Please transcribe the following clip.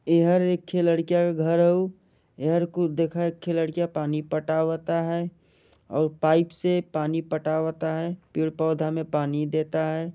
एहर एक थे लड़किया क घर हउ इहर कुछ दिखत लड़किया पानी पटावता है और पाइप से पानी पटावता है पेड़ पौधा में पानी देता है।